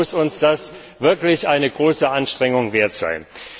Deshalb muss uns das wirklich eine große Anstrengung wert sein.